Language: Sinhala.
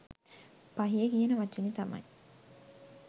පහිය කියන වචනේ තමයි